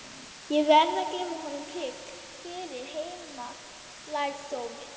Ég verð að gefa honum prik fyrir heimalærdóminn.